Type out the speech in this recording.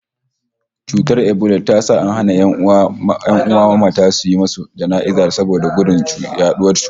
Cutar ebola ta sa an hana ƴan'uwan mamata suyi musu jana'iza saboda gudun yaɗa cutar